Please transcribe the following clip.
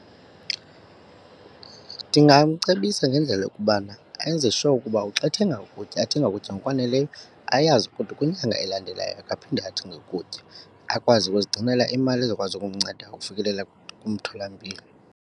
Ndingamcebisa ngendlela yokubana enze sure ukuba xa ethenga ukutya athenge ukutya ngokwaneleyo, ayazi ukuthi kwinyanga elandelayo akaphinde athenge ukutya. Akwazi ukuzigcinela imali ezokwazi ukumnceda ukufikelela kumtholampilo.